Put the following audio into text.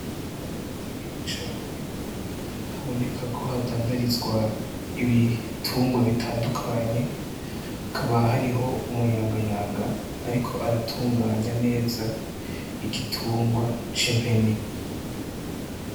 Ahantu hanini cane, haboneka ko hadandarizwa ibitungwa bitandukanye ,hakaba hariho umuyagayanga ariko aratunganya neza, igitungwa c'impene.